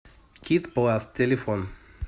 кит пласт телефон